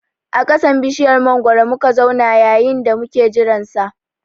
A ƙasan bishiyar mangwaro muka zauna yayin da muke jiran sa